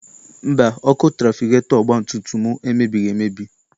Mba, ọkụ trafigetọ ọgbatumtum m emebighị emebi.